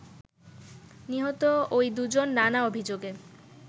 “নিহত ঐ দুজন নানা অভিযোগে